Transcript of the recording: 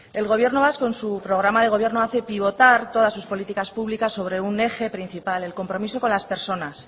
el gobierno vasco en su programa de gobierno hace pivotar todas sus políticas públicas sobre un eje principal el compromiso con las personas